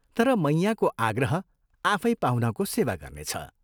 तर मैयाँको आग्रह आफै पाहुनाको सेवा गर्नेछ।